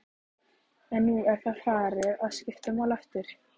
En nú er það farið að skipta máli aftur?